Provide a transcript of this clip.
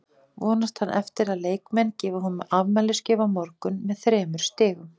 Vonast hann eftir að leikmenn gefi honum afmælisgjöf á morgun með þremur stigum?